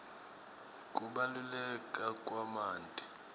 kubaluleka kwemanti